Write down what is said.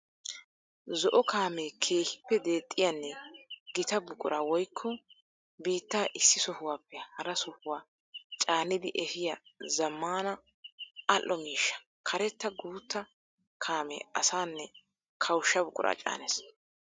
Zo'o kaame keehippe deexxiyanne gitaa buquraa woykko biittta issi sohuwaappe hara sohuwaa caaniddi efiya zamaana ali'o miishsha. Karetta guuta kaame asaanne kawusha buqura caaness.